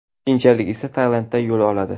Keyinchalik esa Tailandga yo‘l oladi.